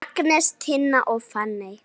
Agnes, Tinna og Fanney.